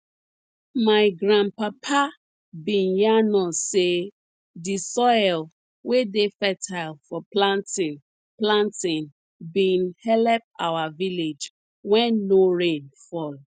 my grandpapa bin yarn us say di soil wey dey fertile for planting planting been helep our village wen no rain fall